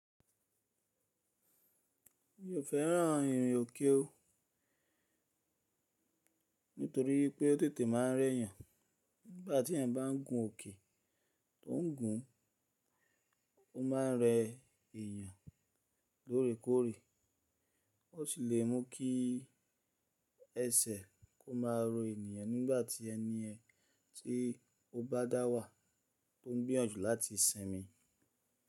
Mi ò fẹ́ràn ìrìn òkè ó, nítorí pé ó tètè máa ń rẹ́ yàn. Nígbà tí ènìyàn bá ń gun òkè, tó ń gùn, ó máa ń rẹ èèyàn lóòrèkóòrè, ó sì lè mú kí ẹsẹ̀ kó máa rọ ènìyàn nígbà tí ẹni yẹn tí ó bá dà wà tó ń gbìyànjú láti simi.